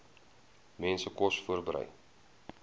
mense kos voorberei